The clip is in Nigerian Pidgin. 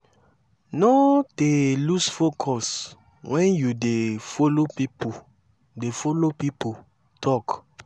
no dey lose focus wen yu dey follow pipo dey follow pipo talk